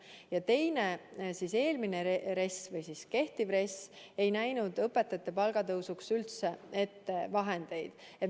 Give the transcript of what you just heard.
Ja teine pingutus: kehtiv RES ei näinud õpetajate palgatõusuks üldse vahendeid ette.